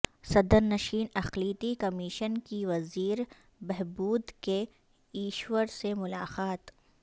صدرنشین اقلیتی کمیشن کی وزیر بہبود کے ایشور سے ملاقات